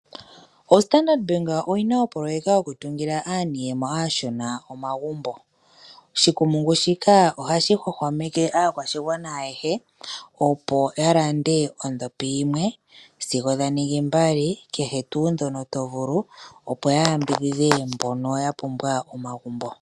Ombaanga ya Standard oyina opoyeka yokutungila aaniiyemo aashona omagumbo. Oshikumungu shika ohashi hwahwameke aakwashigwana ayehe opo ya lande ondhopi yimwe sigo dha ningi mbali kehe tuu ndhono tovulu opo ya yambidhidhe mbono ya pumbwa omagumbo.